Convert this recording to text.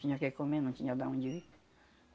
Tinha o que comer, não tinha de onde vir.